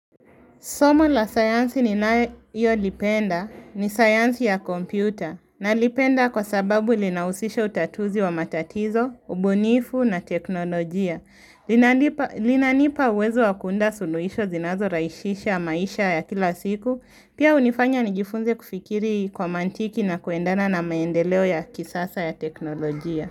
Somo la sayansi ni nayo lipenda ni sayansi ya kompyuta na lipenda kwa sababu linahusisha utatuzi wa matatizo, ubunifu na teknolojia linalipa. Linanipa uwezo wa kuunda suluhisho zinazo rahishisha ya maisha ya kila siku, pia hunifanya nijifunze kufikiri kwa mantiki na kuendana na maendeleo ya kisasa ya teknolojia.